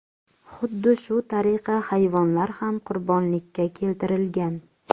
Xuddi shu tariqa hayvonlar ham qurbonlikka keltirilgan.